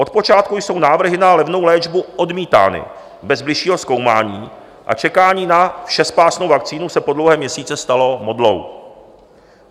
Od počátku jsou návrhy na levnou léčbu odmítány bez bližšího zkoumání a čekání na všespásnou vakcínu se po dlouhé měsíce stalo modlou.